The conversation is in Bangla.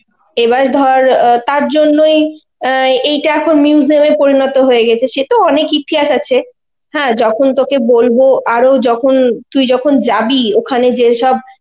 এবার ধর অ্যাঁ তার জন্যই অ্যাঁ এটা এখন museum এ পরিণত হয়ে গেছে, সে তো অনেক ইতিহাস আছে, হ্যাঁ যখন তোকে বলবো আরো যখন তুই যখন যাবি ওখানে, যেসব